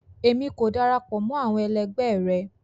Emi ko darapọ̀ mọ́ àwọn ẹlẹgbẹ o.